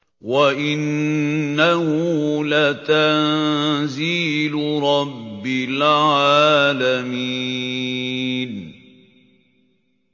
وَإِنَّهُ لَتَنزِيلُ رَبِّ الْعَالَمِينَ